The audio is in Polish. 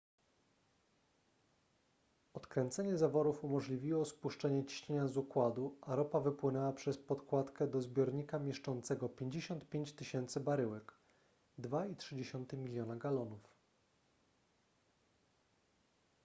odkręcenie zaworów umożliwiło spuszczenie ciśnienia z układu a ropa wypłynęła przez podkładkę do zbiornika mieszczącego 55 000 baryłek 2,3 miliona galonów